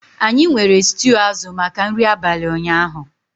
Anyị nwere stew azụ maka nri abalị ụnyaahụ